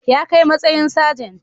Ya kai matsayin sajent